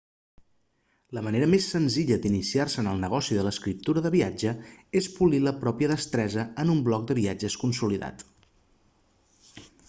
la manera més senzilla d'iniciar-se en el negoci de l'escriptura de viatge és polir la pròpia destresa en un blog de viatges consolidat